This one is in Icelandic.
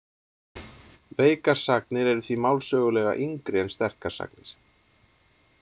Veikar sagnir eru því málsögulega yngri en sterkar sagnir.